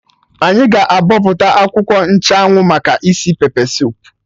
Anyị ga-abọpụta akwụkwọ nchụ anwụ maka isi pepe soup